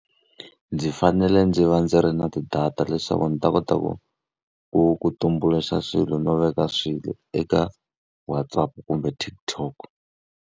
Ndzi fanele ndzi va ndzi ri na ti-data leswaku ndzi ta kota ku ku ku tumbuluxa swilo no veka swilo eka WhatsApp kumbe TikTok.